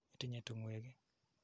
Itinye tung'wek ii?